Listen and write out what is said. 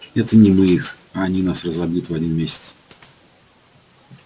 это не мы их а они нас разобьют в один месяц